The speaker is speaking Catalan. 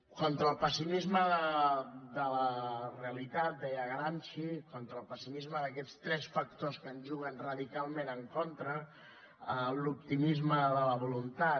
contra el pessimisme de la realitat deia gramsci contra el pessimisme d’aquests tres factors que ens juguen radicalment en contra l’optimisme de la voluntat